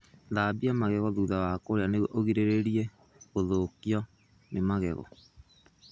Gũthambia magego thutha wa kũrĩa nĩguo ũgirĩrĩrie gũthũkio nĩ magego.